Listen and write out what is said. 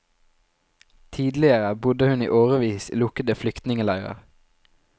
Tidligere bodde hun i årevis i lukkede flyktningeleirer.